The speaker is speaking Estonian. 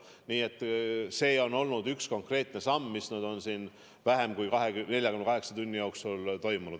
Nii et see on olnud üks konkreetne samm, mis on siin vähem kui 48 tunni jooksul tehtud.